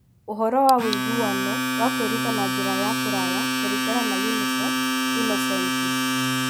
Ũhoro wa ũiguano wa kwĩruta na njĩra ya kũraya kũringana na UNICEF Innocenti.